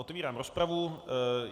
Otevírám rozpravu.